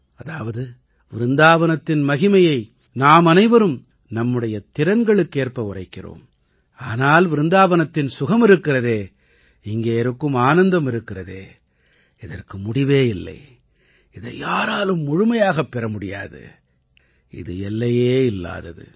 அதாவது விருந்தாவனத்தின் மகிமையை நாமனைவரும் நம்முடைய திறன்களுக்கேற்ப உரைக்கிறோம் ஆனால் விருந்தாவனத்தின் சுகம் இருக்கிறதே இங்கே இருக்கும் ஆனந்தம் இருக்கிறதே இதற்கு முடிவே இல்லை இதை யாராலும் முழுமையாகப் பெற முடியாது இது எல்லையே இல்லாதது